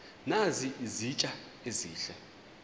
nazi izitya ezihle